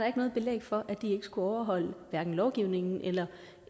ikke noget belæg for at de ikke skulle overholde lovgivningen eller